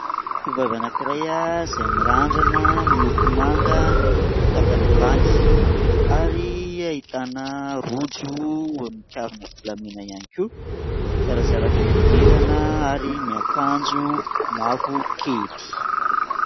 Tovovavy anankiray a, izay mirandrana miloko manga ny tapany ambany ary ahitana rojo ho mikavina volamena ihany koa, zarazara fihodirana ary miakanjo mavokely.